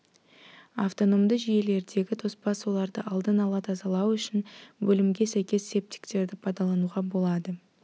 автономды жүйелердегі тоспа суларды алдын ала тазалау үшін бөлімге сәйкес септиктерді пайдалануға болады